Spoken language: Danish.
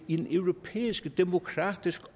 i den europæiske demokratiske